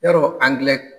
Yarɔ angilɛ